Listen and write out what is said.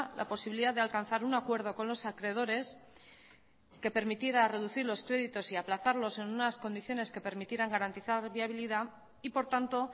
la posibilidad de alcanzar un acuerdo con los acreedores que permitiera reducir los créditos y aplazarlos en unas condiciones que permitieran garantizar viabilidad y por tanto